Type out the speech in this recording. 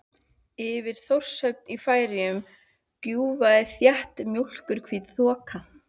Yfir Þórshöfn í Færeyjum grúfði þétt mjólkurhvít þoka.